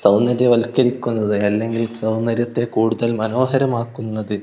സൗന്ദര്യവത്കരിക്കുന്നത് അല്ലെങ്കിൽ സൗന്ദര്യത്തെ കൂടുതൽ മോനോഹരമാക്കുന്നത്--